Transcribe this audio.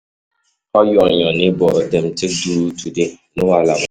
How you and your neighbour dem take do today? No wahala?